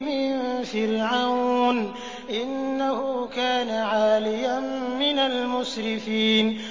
مِن فِرْعَوْنَ ۚ إِنَّهُ كَانَ عَالِيًا مِّنَ الْمُسْرِفِينَ